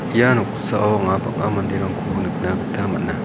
ia noksao anga bang·a manderangko nikna gita man·a.